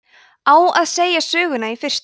á að segja söguna í fyrstu